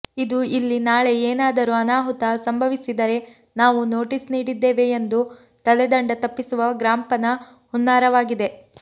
ಇದು ಇಲ್ಲಿ ನಾಳೆ ಏನಾದರೂ ಅನಾಹುತ ಸಂಭವಿಸಿದರೆ ನಾವು ನೋಟಿಸ್ ನೀಡಿದ್ದೇವೆ ಎಂದು ತಲೆದಂಡ ತಪ್ಪಿಸುವ ಗ್ರಾಪಂನ ಹುನ್ನಾರವಾಗಿದೆ